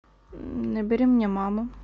набери мне маму